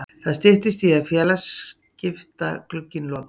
Það styttist í að félagaskiptaglugginn loki.